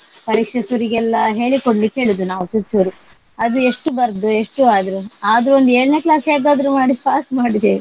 ಪರೀಕ್ಷೆ ಶುರಿಗೆಲ್ಲ ಹೇಳಿಕೊಡ್ಲಿಕ್ ಹೇಳುದ್ ನಾವು ಚೂರ್ ಚೂರು ಅದ್ ಎಷ್ಟ್ ಬರ್ದ್ ಎಷ್ಟ್ ಅದು ಆದ್ರೂ ಒಂದ್ ಏಳ್ನೇ class ಹೇಗಾದ್ರು ಮಾಡಿ pass ಮಾಡಿದೇವೆ.